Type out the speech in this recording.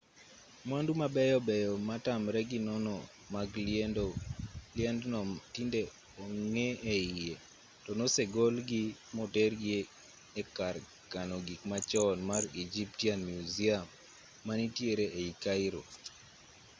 mwandu mabeyo beyo matamre gi nono mag liendno tinde onge e iye to nosegol gi motergi e kar kano gik machon mar egyptian museum manitiere ei cairo